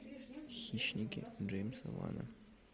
хищники джеймса вана